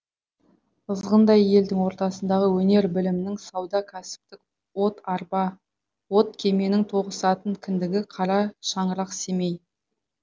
ызғындай елдің ортасындағы өнер білімнің сауда кәсіптің от арба от кеменің тоғысатын кіндігі қара шаңырақ семей